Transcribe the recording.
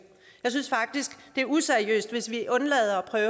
jeg synes faktisk det er useriøst hvis vi undlader at